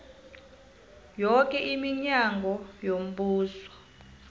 yoke iminyango yombuso